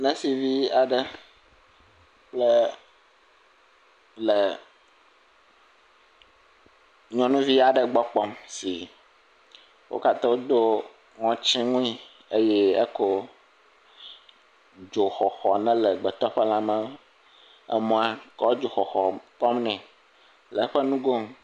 Nursivi aɖe le nyɔnu vi aɖe gbɔ kpɔm. Wo katã wò do ŋɔti wuie eye ne kɔ dzoxɔxɔ yike le gbetɔ ƒe lã me, emɔa kɔ dzoxɔxɔ tɔm ne le eƒe nugo nu.